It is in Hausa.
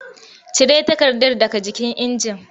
Cire takardar daga jikin injin!